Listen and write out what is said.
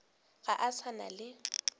ga a sa na le